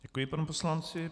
Děkuji panu poslanci.